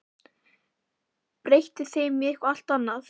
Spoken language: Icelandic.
Breytti þeim í eitthvað allt annað.